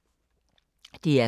DR K